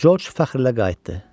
George fəxrlə qayıtdı.